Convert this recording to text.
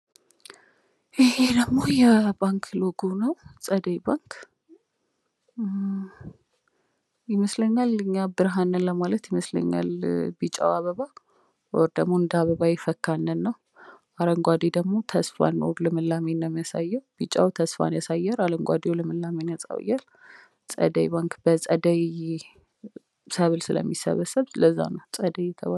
ይሄ ደግሞ የባንክ ሎጎ ነው፤ ፀደይ ባንክ። ይመስለኛል እኛ ብርሀን ነን ለማለት ይመስለኛል ቢጫው አበባ ወይም ደሞ እንደ አበባ የፈካን ነን ነው። አረንጓዴው ደግሞ ተስፋን ወይም ልምላሜን ነው ሚያሳየው፣ ቢጫው ተስፋን ያሳያል ፣ አረንጓዴው ልምላሜን ያሳያል። ፀደይ ባንክ በፀደይ ሰብል ስለሚሰበሰብ ለዛ ነው ፀደይ የተባለው።